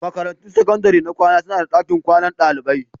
Makarantun sakandare na kwana suna da dakin kwanan dalibai.